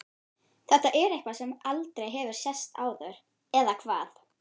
Þetta er eitthvað sem aldrei hefur sést áður. eða hvað?